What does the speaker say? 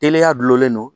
Teliya gulolen do